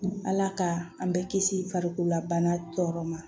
Ala ka an bɛɛ kisi farikolola bana tɔɔrɔ ma